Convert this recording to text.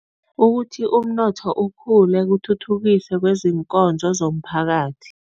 Ukuthi umnotho ukhule, kuthuthukise kwezinkozo zomphakathi.